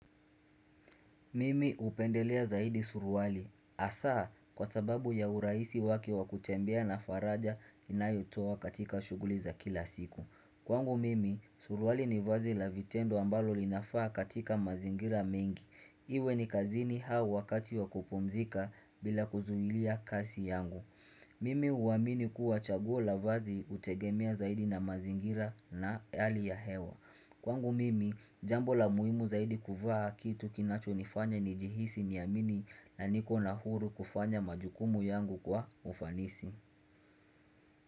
Mimi hupendelea zaidi suruali hasa kwa sababu ya urahisi wake wakutembea na faraja inayotoa katika shughuli za kila siku. Kwangu mimi, suruali ni vazi la vitendo ambalo linafaa katika mazingira mengi. Iwe ni kazini hau wakati wakupomzika bila kuzuilia kasi yangu. Mimi huamini kuwa chaguo la vazi hutegemea zaidi na mazingira na hali ya hewa Kwangu mimi jambo la muhimu zaidi kuvaa kitu kinacho nifanya ni jihisi niamini na niko na huru kufanya majukumu yangu kwa ufanisi.